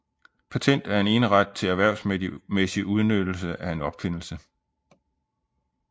Patent er en eneret til erhvervsmæssig udnyttelse af en opfindelse